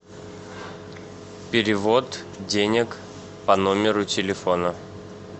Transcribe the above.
перевод денег по номеру телефона